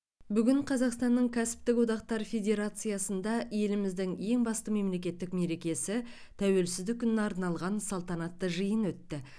бүгін қазақстанның кәсіптік одақтар федерациясында еліміздің ең басты мемлекеттік мерекесі тәуелсіздік күніне арналған салтанатты жиын өтті